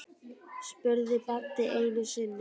spurði Baddi einu sinni.